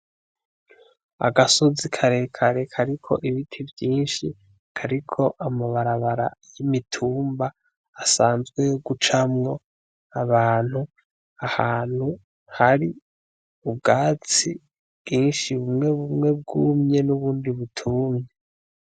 Agasozi karekare kariko ibiti vyinshi, kariko amabarabara n'imitumba asanzwe yo gucamwo abantu ahantu hari ubwatsi bwinshi bumwe bumwe bwumye n'ubundi butumye.